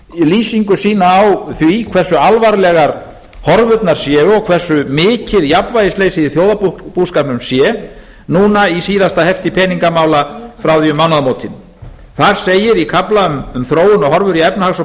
lýsingu sína á því hversu alvarlegar horfurnar séu og hversu mikið jafnvægisleysið í þjóðarbúskapnum sé núna í síðasta hefti peningamála frá því um mánaðamótin þar segir í kafla um þróun og horfur í efnahags og